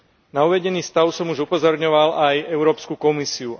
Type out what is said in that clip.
Na uvedený stav som už upozorňoval aj Európsku komisiu.